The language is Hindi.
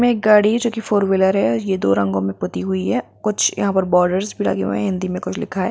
इसमे एक गाड़ी है जो फॉर व्हीलर है जो दो रंगो मे पोती हुई है कुछ यहाँ पर बोर्डस भी लगे हुए है हिन्दी मे कुछ लिखा है।